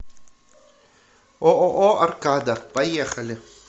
ооо аркада поехали